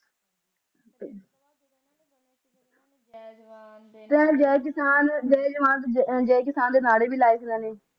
ਜੈ ਜੈ ਕਿਸਾਨ ਜੈ ਜਵਾਨ ਜੈ ਕਿਸਾਨ ਦੇ ਨਾਰੇ ਵੀ ਲਾਏ ਸੀ ਓਹਨਾ ਨੇ